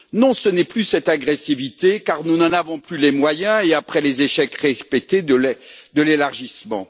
Non, ce n'est plus cette agressivité car nous n'en avons plus les moyens, notamment après les échecs répétés de l'élargissement.